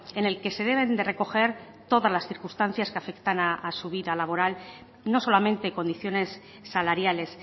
en el que se deben de recoger todas las circunstancias que afectan a su vida laboral no solamente condiciones salariales